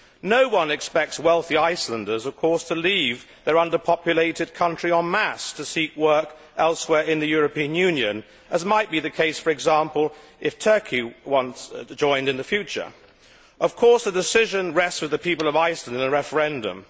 No one expects wealthy Icelanders to leave their underpopulated country en masse to seek work elsewhere in the European Union, as might be the case, for example, if Turkey were to join in the future. Of course, the decision rests with the people of Iceland in a referendum.